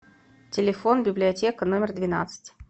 телефон библиотека номер двенадцать